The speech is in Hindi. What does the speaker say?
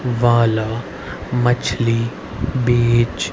वाला मछली बीज --